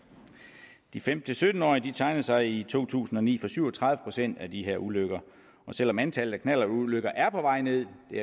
de femten til sytten årige tegnede sig i to tusind og ni for syv og tredive procent af de her ulykker og selv om antallet af knallertulykker er på vej ned det